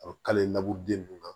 A bɛ kale laburu den ninnu na